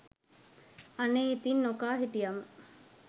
අනේ ඉතිං නොකා හිටියම